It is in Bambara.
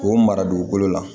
K'o mara dugukolo la